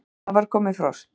Það var komið frost!